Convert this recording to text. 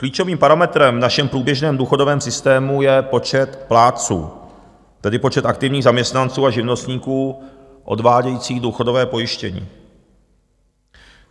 Klíčovým parametrem v našem průběžném důchodovém systému je počet plátců, tedy počet aktivních zaměstnanců a živnostníků odvádějících důchodové pojištění.